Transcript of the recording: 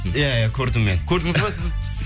иә иә көрдім мен көрдіңіз бе сіз